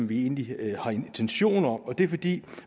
vi egentlig har intention om og det er fordi